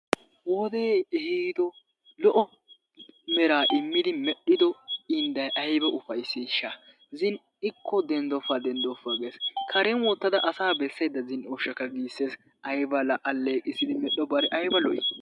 Wodee ehiiddo lo"o eraa immidi medhdhiddo indday aybba ufayssishsha zin'ikko denddoppa denddoppa gees karen wottada asaa bessaydda zin'ooshshakka gissees ayba la aleeqqissdi medhobare ayba lo"i